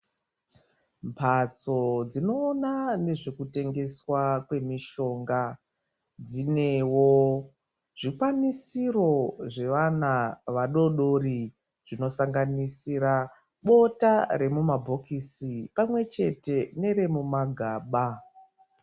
Mphatso dzinoona nezvekutengeswa kwemishonga dzinewo zvikwanisiro zvevana vadoodori zvinosanganisira bota remumabhokisi pamwe chete neremumagaba.